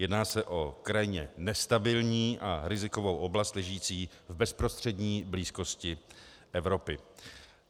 Jedná se o krajně nestabilní a rizikovou oblast ležící v bezprostřední blízkosti Evropy.